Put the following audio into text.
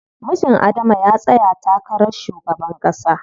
Mijin Adama ya tsaya takarar shugaban ƙasa.